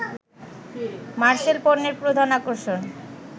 মারসেল পণ্যের প্রধান আকর্ষণ